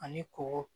Ani kɔgɔ